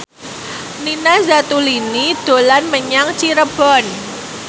Nina Zatulini dolan menyang Cirebon